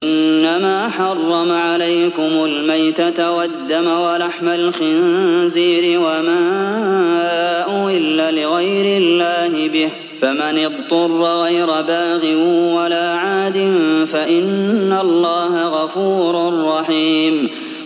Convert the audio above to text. إِنَّمَا حَرَّمَ عَلَيْكُمُ الْمَيْتَةَ وَالدَّمَ وَلَحْمَ الْخِنزِيرِ وَمَا أُهِلَّ لِغَيْرِ اللَّهِ بِهِ ۖ فَمَنِ اضْطُرَّ غَيْرَ بَاغٍ وَلَا عَادٍ فَإِنَّ اللَّهَ غَفُورٌ رَّحِيمٌ